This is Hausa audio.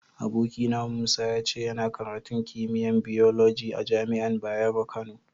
Abokina Musa, ya ce yana karatun kimiyya'n biyoloji a'jami'an Bayero Kano.